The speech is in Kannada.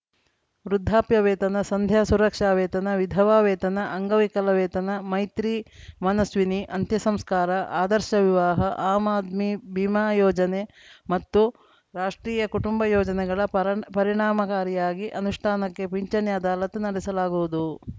ವೃದ್ಧಾಪ್ಯ ವೇತನ ಸಂಧ್ಯಾ ಸುರಕ್ಷಾ ವೇತನ ವಿಧವಾ ವೇತನ ಅಂಗವಿಕಲ ವೇತನ ಮೈತ್ರಿ ಮನಸ್ವಿನಿ ಅಂತ್ಯ ಸಂಸ್ಕಾರ ಆದರ್ಶ ವಿವಾಹ ಆಮ್‌ ಆದ್ಮಿ ಬಿಮಾ ಯೋಜನೆ ಮತ್ತು ರಾಷ್ಟ್ರೀಯ ಕುಟುಂಬ ಯೋಜನೆಗಳ ಪರಣ್ ಪರಿಣಾಮಕಾರಿಯಾಗಿ ಅನುಷ್ಠಾನಕ್ಕೆ ಪಿಂಚಣಿ ಅದಾಲತ್‌ ನಡೆಸಲಾಗುವುದು